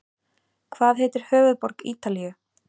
Hvað heitir höfuðborg Ítalíu?